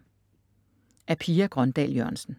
Af Pia Grøndahl Jørgensen